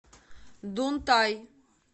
дунтай